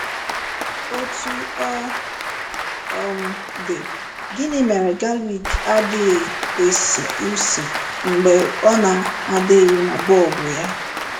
Otú ọ um dị, gịnị mere galik adịghị esi ísì mgbe ọ na-adịghị na bọlbụ ya?